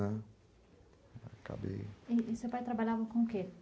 Né, e seu pai trabalhava com o quê?